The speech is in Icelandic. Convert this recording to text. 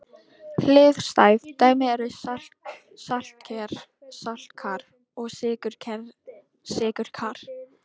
Hliðstæð dæmi eru saltker-saltkar og sykurker-sykurkar.